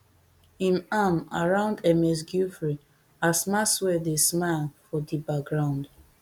im arm around ms giuffre as maxwell dey smile for di background